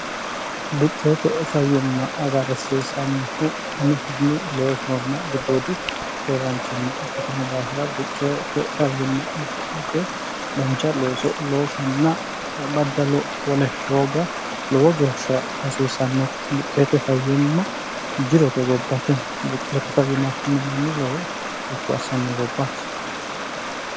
buqqeete fayyimma agarrsiisannohumihunni loosonna giddoodi keeraanchimma ikkitino daafira buqqeete fayyimma agadhate dancha looso loosanna baddaowolhooga lowo geeshsha hasiissannote buqqeete fayyimma jirote gobbaatino buqqeete fayyimma afinno manni lowo ikku assanno gobbaate